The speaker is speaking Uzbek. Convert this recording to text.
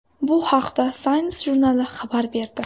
Bu haqda Science jurnali xabar berdi.